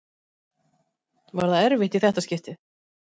Var það erfitt í þetta skiptið?